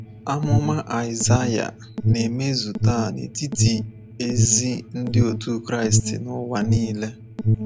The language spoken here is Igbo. Amụma Aịsaịa na-emezu taa n’etiti ezi ndị otu Kraịst n’ụwa nile.